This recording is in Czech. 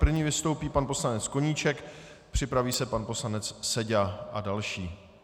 První vystoupí pan poslanec Koníček, připraví se pan poslanec Seďa a další.